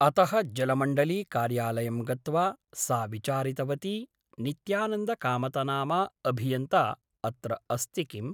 अतः जलमण्डलीकार्यालयं गत्वा सा विचारितवती नित्यानन्दकामतनामा अभियन्ता अत्र अस्ति किम् ?